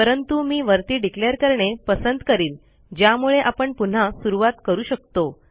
परंतु मी वरती डिक्लेअर करणे पसंत करीन ज्यामुळे आपण पुन्हा सुरूवात करू शकतो